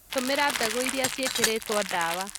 Tũmira mbegu irĩa ciĩkĩrĩtwo ndawa.